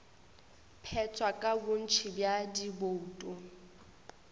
phethwa ka bontši bja dibouto